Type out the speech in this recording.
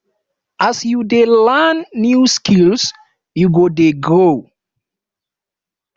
as you dey learn new skills you go dey grow